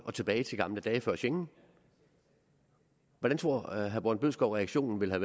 og tilbage til gamle dage før schengen hvordan tror herre morten bødskov reaktionen ville